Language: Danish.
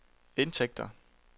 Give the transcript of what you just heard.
indtægter